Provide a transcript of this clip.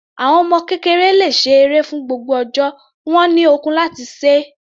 Àwọn ọmọ kékeré le ṣe eré fún gbogbo ọjọ́, wọ́n ní ọkun láti se é.